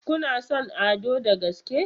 Kuna son Ado da gaske?